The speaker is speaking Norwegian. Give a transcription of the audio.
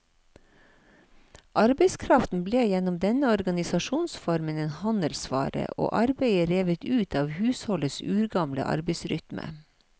Arbeidskraften ble gjennom denne organisasjonsformen en handelsvare, og arbeidet revet ut av husholdets urgamle arbeidsrytme.